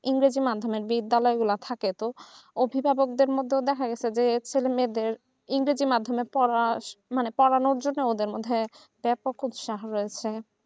ইংরেজির মাধ্যমে বিদ্যালয়গুলা থাকে তো অভিভাবকদের মধ্যে দেখা যাচ্ছে যে ছেলে মেয়েদের ইংরেজি মাধ্যমের পড়ার মানে পড়ানোর জন্য ব্যাপক উৎসাহর দেওয়ার